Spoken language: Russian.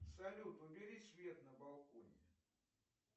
салют убери свет на балконе